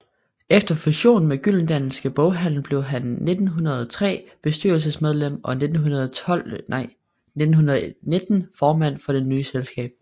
Efter fusionen med Gyldendalske Boghandel blev han 1903 bestyrelsesmedlem og 1919 formand for det nye selskab